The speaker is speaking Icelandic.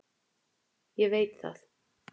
Ég veit það.